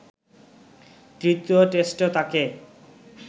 তৃতীয় টেস্টেও তাঁকে